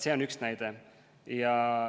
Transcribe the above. See on üks näide.